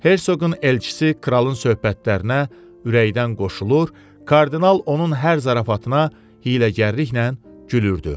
Hersoqun elçisi kralın söhbətlərinə ürəkdən qoşulur, kardinal onun hər zarafatına hiyləgərliklə gülürdü.